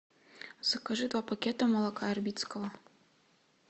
закажи два пакета молока ярбицкого